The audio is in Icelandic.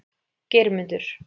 Geirmundur